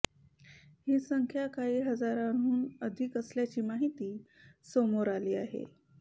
ही संख्या काही हजारांहून अधिक असल्याची माहिती समोर आली आहे